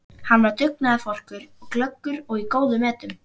Hann var dugnaðarforkur, glöggur og í góðum metum.